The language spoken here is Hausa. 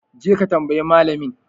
Je ka tambayi malamin!